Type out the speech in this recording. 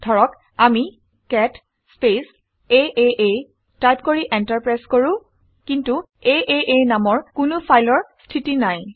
ধৰক আমি cat space আঁ টাইপ কৰি এন্টাৰ প্ৰেছ কৰো। কিন্তু আঁ নামৰ কোনো ফাইলৰ স্থিতি নাই